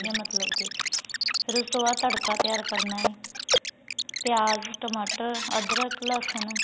ਗਿਆਂ ਮਤਲਬ ਕੇ ਫੇਰ ਉਸ ਤੋਂ ਬਾਅਦ ਤੜਕਾ ਤਿਆਰ ਕਰਨਾ ਏ ਪਿਆਜ ਟਮਾਟਰ ਅਦਰਕ ਲਸਣ